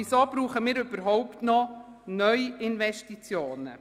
Weshalb benötigen wir überhaupt noch Neuinvestitionen?